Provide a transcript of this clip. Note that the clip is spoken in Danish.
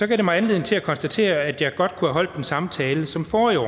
det mig anledning til at konstatere at jeg godt kunne have holdt den samme tale som forrige år